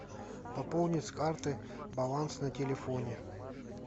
пополни с карты баланс на телефоне